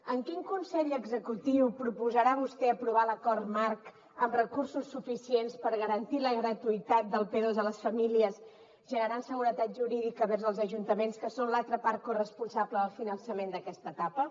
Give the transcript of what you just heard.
en quin consell executiu proposarà vostè aprovar l’acord marc amb recursos suficients per garantir la gratuïtat del p2 a les famílies generant seguretat jurídica vers els ajuntaments que són l’altra part corresponsable del finançament d’aquesta etapa